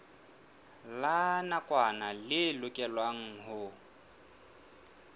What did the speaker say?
la nakwana le lokelwang ho